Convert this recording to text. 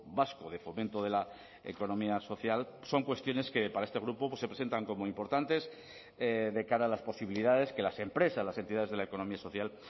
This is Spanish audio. vasco de fomento de la economía social son cuestiones que para este grupo se presentan como importantes de cara a las posibilidades que las empresas las entidades de la economía social